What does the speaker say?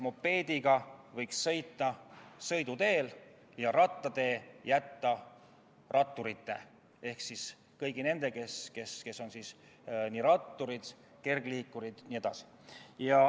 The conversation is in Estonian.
Mopeediga võiks sõita sõiduteel ja jalgrattatee võiks jätta ratturitele ehk kõigile nendele, kes liiguvad rattaga, kergliikuriga jne.